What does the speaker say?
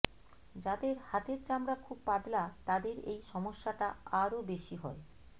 যাদের হাতের চামড়া খুব পাতলা তাদের এই সমস্যাটা আরও বেশি হয়